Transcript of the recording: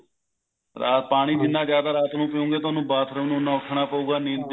ਪਾਣੀ ਜਿੰਨਾ ਜਿਆਦਾ ਰਾਤ ਨੂੰ ਪੀਓਗੇ ਤੁਹਾਨੂੰ bathroom ਉੰਨਾ ਉੱਠਨਾ ਪਉਗਾ ਨੀਂਦ disturb